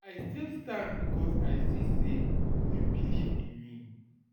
I still stand because I see sey you beliv in me.